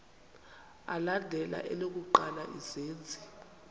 alandela elokuqala izenzi